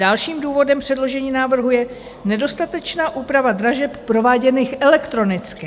Dalším důvodem předložení návrhu je nedostatečná úprava dražeb prováděných elektronicky.